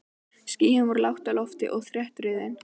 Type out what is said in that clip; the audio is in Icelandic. Skýin voru lágt á lofti og þéttriðin.